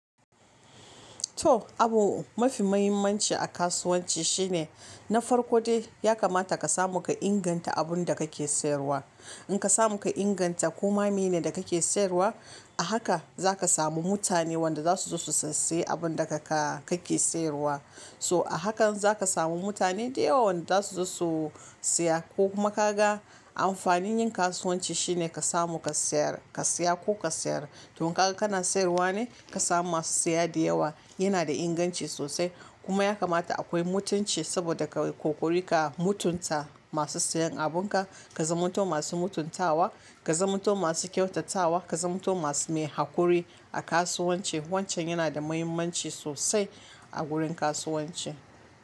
To, abu mafi mahimmanci a kasuwanci shine, na farko dai ya kamata ka samu ka inganta abunda kake sayarwa. In ka samu ka inganta koma mi ne da kake sayarwa, a haka zaka samu mutane wanda za su zo su sassaye abunda kaka kake sayarwa. Toh a hakan zaka samu mutane da yawa wanda za su zo su siya. Ko kuma kaga amfanin yin kasuwanci shine ka samu ka sayar, ka siya ko ka sayar. Toh kaga kana sayarwa ne ka samu masu siya da yawa. Yana da inganci sosai kuma ya kamata akoyi mutunci saboda ka l kokari ka mutunta masu siyan abunka. Ka zamanto masu mutuntawa, ka zamanto masu kyautatawa, ka zamanto masu mai hakuri a kasuwanci. Wancan yana da muhimmanci sosai a gurin kasuwanci.